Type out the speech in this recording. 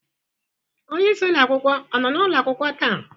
Onye isi ụlọ akwụkwọ ọ nọ n'ụlọ akwụkwọ taa?